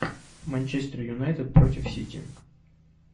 манчестер юнайтед против сити